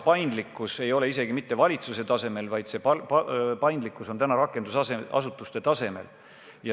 Paindlikkus ei ole siin vajalik isegi mitte valitsuse tasemel, vaid eelkõige rakendusasutuste tasemel.